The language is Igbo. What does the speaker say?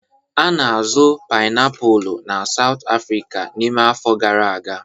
A na-azụ painiapulu na South America n'ime afọ gara aga.